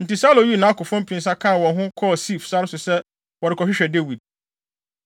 Enti Saulo yii nʼakofo mpensa kaa wɔn ho kɔɔ Sif sare so sɛ wɔrekɔhwehwɛ Dawid.